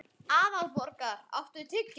Aðalborgar, áttu tyggjó?